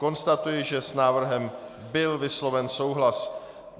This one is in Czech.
Konstatuji, že s návrhem byl vysloven souhlas.